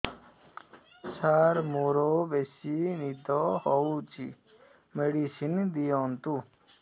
ସାର ମୋରୋ ବେସି ନିଦ ହଉଚି ମେଡିସିନ ଦିଅନ୍ତୁ